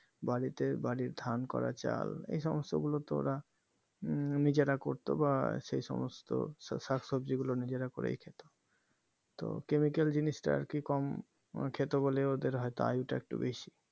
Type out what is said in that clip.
বাড়িতে বাড়ির ধান করা চাল এই সমস্ত গুলো তো ওরা উম নিজেরা করতো বা সেই সমস্ত শাকসবজি গুলো নিজেরা করেই খেত তো chemical জিনিসটা আরকি কম খেত বলে ওদের হয়তো আয়ু টা বেশি